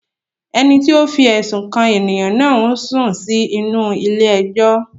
Ẹni tí ó fi ẹ̀sùn kàn ènìyàn náà ń sùn sí inú-u ilé ẹjọ́